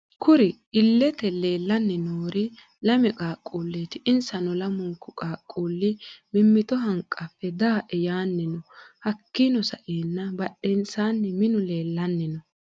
Kurri iilete leellani noori lame qaaqquleti insano lamuniku qaaqquli mimitto hanqafe da'e yaani no hakiino sa'eena badheensa minu leelani no